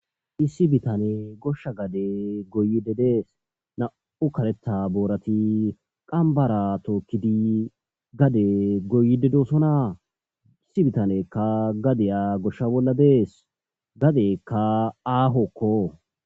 issi bitane goshsha gade goyide dees na7u kaletta boorati qambara tookkidi gade goyidedesona issi bitanekka gadeya goshsha bolla dees gadekka aahokko